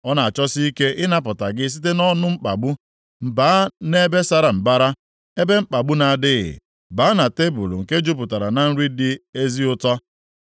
“Ọ na-achọsi ike ịnapụta gị site nʼọnụ mkpagbu, baa nʼebe sara mbara, ebe mkpagbu na-adịghị, baa na tebul nke jupụtara na nri dị ezi ụtọ.